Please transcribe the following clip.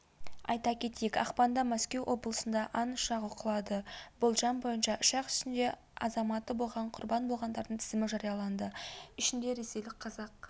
айта кетейік ақпанда мәскеу облысында ан ұшағы құлады болжам бойынша ұшақ ішінде азаматы болған құрбан болғандардың тізімі жарияланды ішінде ресейлік қазақ